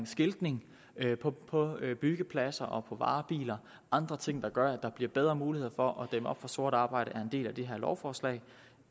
skiltning på byggepladser og på varebiler og andre ting der gør at der bliver bedre muligheder for at dæmme op for sort arbejde er en del af det her lovforslag